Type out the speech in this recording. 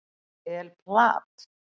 El Plat